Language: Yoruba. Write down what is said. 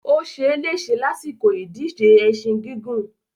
Ó se lése lásìkò ìdíje ẹṣin gígùn.